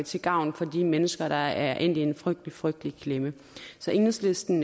til gavn for de mennesker der er endt i en frygtelig frygtelig klemme så enhedslisten